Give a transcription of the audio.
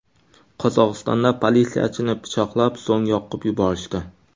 Qozog‘istonda politsiyachini pichoqlab, so‘ng yoqib yuborishdi.